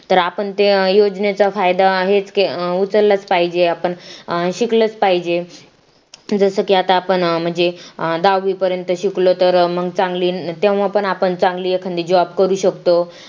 तर आपण ते योजनेचा फायदा हेच का उचललाच पाहिजे आपण शिकलच पाहिजे जसं की आता आपण म्हणजे दहावीपर्यंत शिकलो तर मग चांगली तेव्हा पण आपण चांगली एखाद job करू शकतो